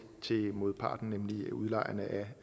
modparten nemlig udlejerne af